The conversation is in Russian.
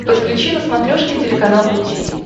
подключи на смотрешке телеканал ру ти ви